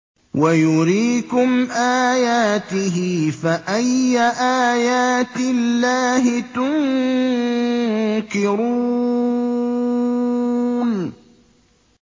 وَيُرِيكُمْ آيَاتِهِ فَأَيَّ آيَاتِ اللَّهِ تُنكِرُونَ